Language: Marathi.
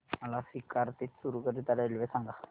मला सीकर ते चुरु करीता रेल्वे सांगा